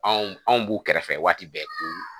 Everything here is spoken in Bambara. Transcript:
Anw anw b'u kɛrɛfɛ waati bɛɛ ko